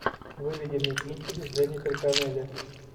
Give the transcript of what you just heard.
выведи мне кинчик с дженнифер коннелли